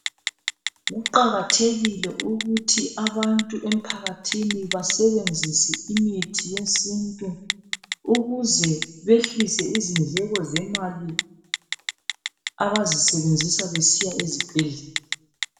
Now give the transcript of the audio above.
kuqakathekile ukuthi abantu emphakathini basebenzise umuthi wesintu ukuze behlise izindleko zemali abazisebenzisa besiya esibhedlela